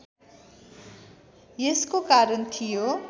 यसको कारण थियो